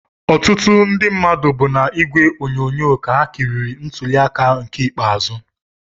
Ọtụtụ ndị mmadụ bụ n'ìgwè onyonyo ka ha kiriri ntuli aka nke ikpeazụ